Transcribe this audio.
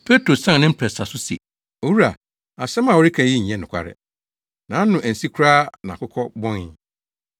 Petro san ne mprɛnsa so se, “Owura, asɛm a woreka yi nyɛ nokware.” Nʼano ansi koraa na akokɔ bɔnee.